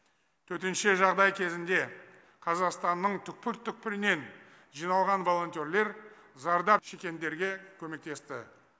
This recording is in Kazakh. төтенше жағдай кезінде қазақстанның түпкір түпкірінен жиналған волонтерлер зардап шеккендерге көмектесті